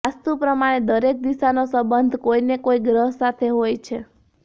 વાસ્તુ પ્રમાણે દરેક દિશાનો સંબંધ કોઈ ને કોઇ ગ્રહ સાથે હોય છે